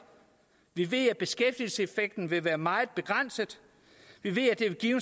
vi ved at beskæftigelseseffekten vil være meget begrænset vi ved at det vil give